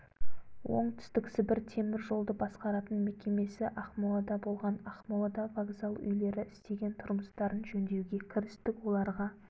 оңтүстік сібір темір жолды басқаратын мекемесі ақмолада болған ақмолада вокзал үйлері істеген тұрмыстарын жөндеуге кірістік оларға